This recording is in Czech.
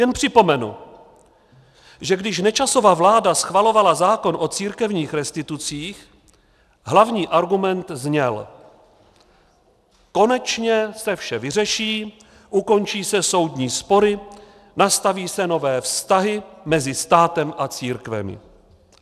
Jen připomenu, že když Nečasova vláda schvalovala zákon o církevních restitucích, hlavní argument zněl: konečně se vše vyřeší, ukončí se soudní spory, nastaví se nové vztahy mezi státem a církvemi.